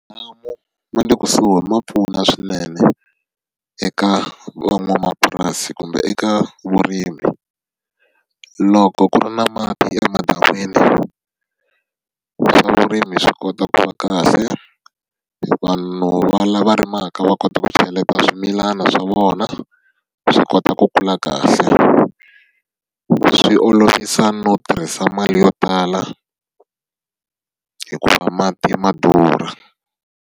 Ma le kusuhi ma pfuna swinene eka van'wamapurasi kumbe eka vurimi. Loko ku ri na mati emadan'wini, swa vurimi swi kota ku va kahle, vanhu lava rimaka va kota ku cheleta swimilana swa vona, swi kota ku kula kahle. Swi olovisa no tirhisa mali yo tala hikuva mati ma durha.